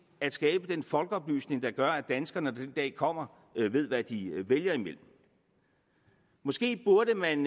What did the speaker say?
at skabe den folkeoplysning der gør at danskerne når den dag kommer ved hvad de vælger imellem måske burde man